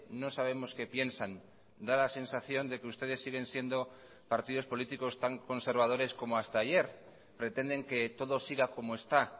no sabemos que piensan da la sensación de que ustedes siguen siendo partidos políticos tan conservadores como hasta ayer pretenden que todos siga como está